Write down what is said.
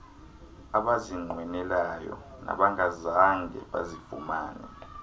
abazinqwenelayo nabangazange bazifumane